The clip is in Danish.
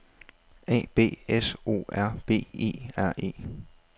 A B S O R B E R E